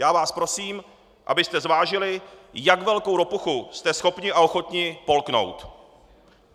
Já vás prosím, abyste zvážili, jak velkou ropuchu jste schopni a ochotni polknout.